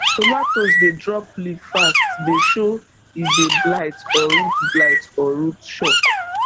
tomatoes dey drop leaf fast dey show e dey blight or root blight or root shock